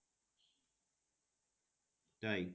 তাই?